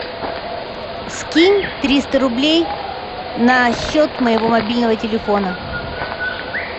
скинь триста рублей на счет моего мобильного телефона